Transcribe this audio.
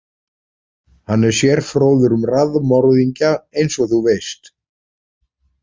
Hann er sérfróður um raðmorðingja eins og þú veist.